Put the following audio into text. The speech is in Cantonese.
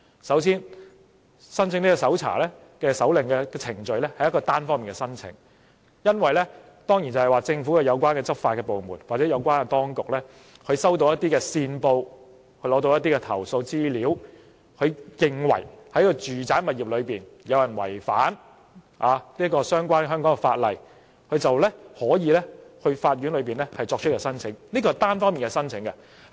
首先，申請搜查令的程序是單方面申請的，政府有關執法部門或有關當局收到線報、投訴資料後，認為有人在住宅物業違反相關香港法例，就可以到法院作出申請，這是單方面的申請。